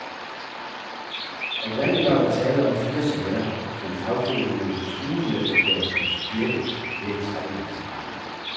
Oprindelig var der tale om fire sager, som fagforeningerne truede med at gøre principielle ved at trække dem for retten.